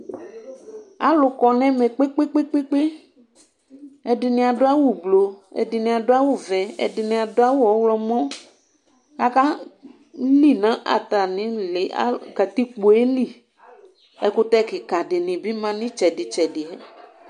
Alʋ kɔ nʋ ɛmɛ kpe kpe kpe kpe ɛdini adʋ awʋ ʋblɔ ɛdini adʋ awʋvɛ ɛdini adʋ awʋ ɔwlɔmɔ aka li nʋ atamili nʋ katikpoeli ɛkʋtɛ kika dini bi ma nʋ itsedi itsɛdi